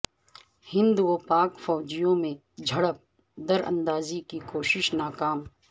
ہند و پاک فوجیوں میں جھڑپ دراندازی کی کوشش ناکام